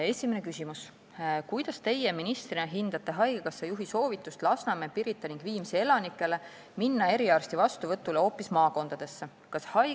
Esimene küsimus: "Kuidas Teie ministrina hindate haigekassa juhi soovitust Lasnamäe, Pirita ning Viimsi elanikele minna eriarsti vastuvõtule hoopis maakondadesse?